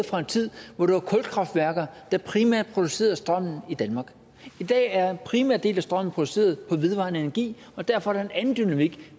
fra en tid hvor det var kulkraftværker der primært producerede strømmen i danmark i dag er en primær del af strøm produceret på vedvarende energi og derfor er der en anden dynamik